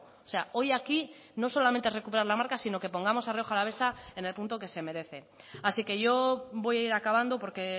o sea hoy aquí no solamente recuperar la marca sino que pongamos a rioja alavesa en el punto que se merece así que yo voy a ir acabando porque